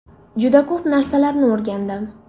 Juda ko‘p narsalarni o‘rgandim.